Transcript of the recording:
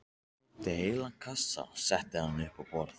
Ég sótti heilan kassa og setti hann upp á borð.